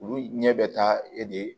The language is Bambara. Olu ɲɛ bɛ taa e de